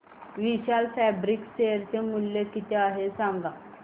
विशाल Fabrics share चे मूल्य किती आहे सांगा बरं